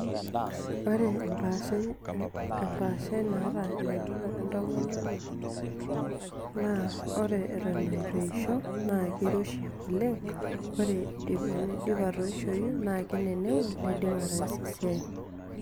Ore empashai embaashai naata enkitok entomononi naa ore atan nituesho na keiroshi olang na ore teneidim atoishoi na kenenengu neidim ataasa esiaai.